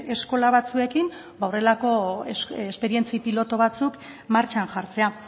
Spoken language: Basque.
eskola batzuekin ba horrelako esperientzia pilotu batzuk martxan jartzea